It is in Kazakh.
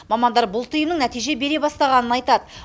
мамандар бұл тыйымның нәтиже бере бастағанын айтады